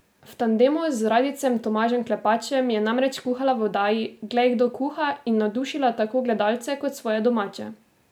V tandemu z radijcem Tomažem Klepačem je namreč kuhala v oddaji Glej, kdo kuha in navdušila tako gledalce kot svoje domače.